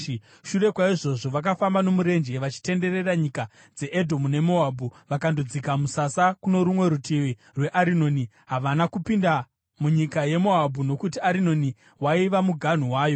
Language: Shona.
“Shure kwaizvozvo vakafamba nomurenje, vachitenderera nyika dzeEdhomu neMoabhu, vakandodzika musasa kuno rumwe rutivi rweArinoni. Havana kupinda munyika yeMoabhu, nokuti Arinoni waiva muganhu wayo.